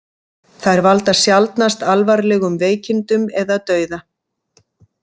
Þær valda sjaldnast alvarlegum veikindum eða dauða.